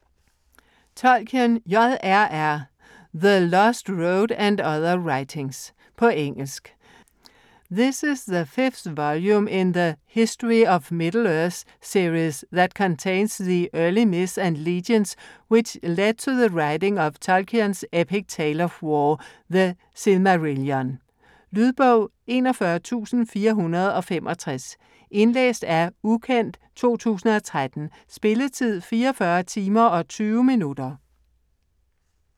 Tolkien, J. R. R.: The lost road and other writings På engelsk. This is the fifth volume in 'The History of Middle-Earth' series that contains the early myths and legends which led to the writing of Tolkien's epic tale of war, 'The Silmarillion'. Lydbog 41465 Indlæst af ukendt, 2013 Spilletid: 44 timer, 20 minutter.